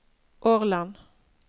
Årland